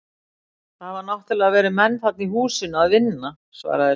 Það hafa náttúrlega verið menn þarna í húsinu að vinna- svaraði Sveinbjörn.